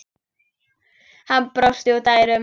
Hann brosti út að eyrum.